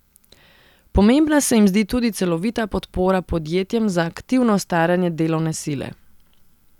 Pomembna se jim zdi tudi celovita podpora podjetjem za aktivno staranje delovne sile.